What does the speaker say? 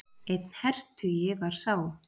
Einn hertugi var sá.